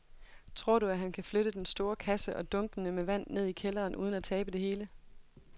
Tror du, at han kan flytte den store kasse og dunkene med vand ned i kælderen uden at tabe det hele?